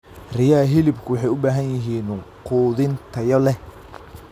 Riyaha hilibku waxay u baahan yihiin quudin tayo leh.